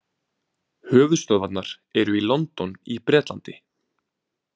Höfuðstöðvarnar eru í London í Bretlandi.